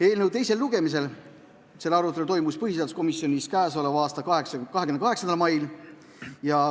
Eelnõu teise lugemise arutelu toimus põhiseaduskomisjonis k.a 28. mail.